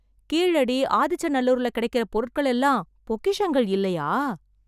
கீழடி, ஆதிச்சநல்லூர்ல கிடைக்கிற பொருட்கள் எல்லாம் பொக்கிஷங்கள் இல்லையா?